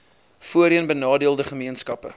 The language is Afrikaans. voorheen benadeelde gemeenskappe